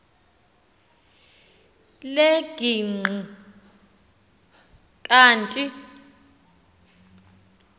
lel kg kanti